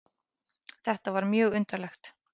Þetta var mjög undarlegt.